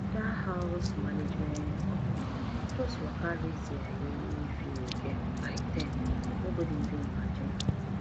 that house management company just waka raise their yearly fee again by ten nobody even imagine am